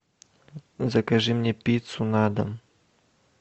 закажи мне пиццу на дом